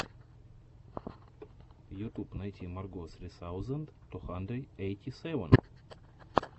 ютуб найти марго сри саузэнд ту хандрэд ейти сэвэн